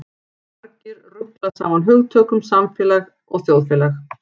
Margir rugla saman hugtökunum samfélag og þjóðfélag.